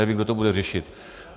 Nevím, kdo to bude řešit.